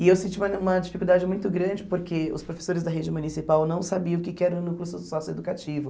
E eu senti uma uma dificuldade muito grande porque os professores da rede municipal não sabiam o que que era o núcleo so socioeducativo.